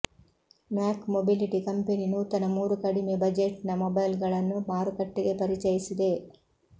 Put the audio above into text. ಮ್ಯಾಕ್ mobility company ನೂತನ ಮೂರು ಕಡಿಮೆ ಬಜೆಟ್ನ ಮೊಬೈಲ್ಗಳನ್ನು ಮಾರುಕಟ್ಟೆಗೆ ಪರಿಚಯಿಸಿದೆ